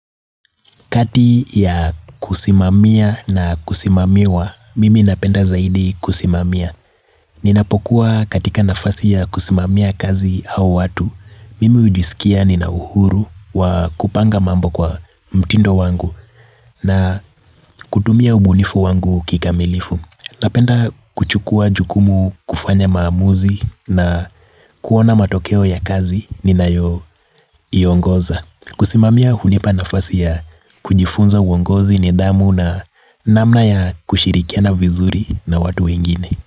Kati ya kusimamia na kusimamiwa, mimi napenda zaidi kusimamia. Ninapokuwa katika nafasi ya kusimamia kazi au watu, mimi ujisikia ninauhuru wa kupanga mambo kwa mtindo wangu na kutumia ubunifu wangu kikamilifu. Napenda kuchukua jukumu kufanya maamuzi na kuona matokeo ya kazi ninayoiongoza. Kusimamia hunipa nafasi ya kujifunza uongozi nidhamu na namna ya kushirikiana na vizuri na watu wengine.